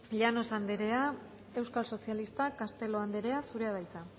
llanos anderea euskal sozialistak castelo anderea zurea da hitza